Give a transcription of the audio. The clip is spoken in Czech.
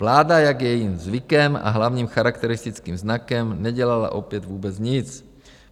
Vláda, jak je jejím zvykem a hlavním charakteristickým znakem, nedělala opět vůbec nic.